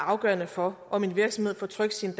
afgørende for om en virksomhed får trykt sine